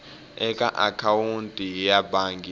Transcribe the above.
eka akhawunti ya bangi ya